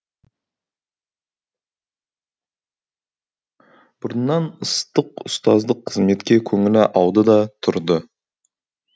бұрыннан ыстық ұстаздық қызметке көңілі ауды да тұрды